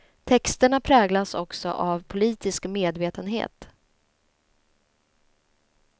Texterna präglas också av politisk medvetenhet.